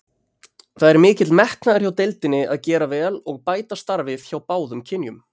Það er mikil metnaður hjá deildinni að gera vel og bæta starfið hjá báðum kynjum.